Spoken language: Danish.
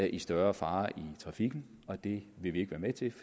i større fare i trafikken og det vil vi ikke være med til